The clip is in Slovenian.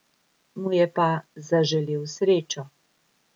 Mu je pa zaželel srečo.